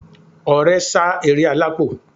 Ọrẹ sá eré alápò